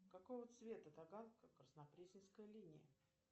какого цвета таганско краснопресненская линия